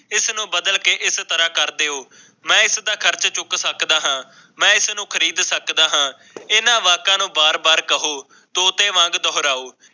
ਇਸ ਨੂੰ ਬਦਲ ਕੇ ਏਸ ਤਰ੍ਹਾਂ ਕਰ ਦਿਓ ਮੈਂ ਇਸ ਦਾ ਖਰਚ ਚੁੱਕ ਸਕਦਾ ਹਾਂ ਮੈਂ ਇਸ ਨੂੰ ਖ਼ਰੀਦ ਸਕਦਾ ਹਾਂ ਇਹਨਾਂ ਵਾਕਾਂ ਨੂੰ ਬਾਰ-ਬਾਰ ਕਹੋ ਤੋਤੇ ਵਾਂਗ ਦੋਰਹਾਉ।